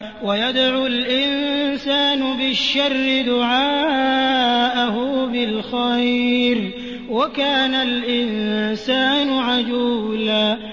وَيَدْعُ الْإِنسَانُ بِالشَّرِّ دُعَاءَهُ بِالْخَيْرِ ۖ وَكَانَ الْإِنسَانُ عَجُولًا